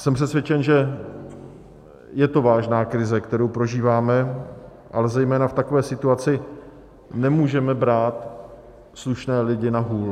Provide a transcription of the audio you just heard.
Jsem přesvědčen, že je to vážná krize, kterou prožíváme, ale zejména v takové situaci nemůžeme brát slušné lidi na hůl.